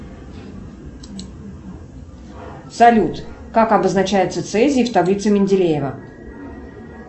салют как обозначается цезий в таблице менделеева